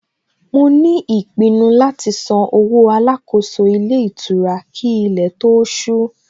Mo ní ìpinnu láti san owó Alákóso ilé ìtura kí ilé tó ó ṣú